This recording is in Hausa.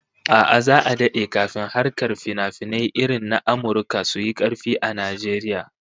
A'a, za'a dade kafin harkar finafinai irin na Amurka su yi karfi a Najeriya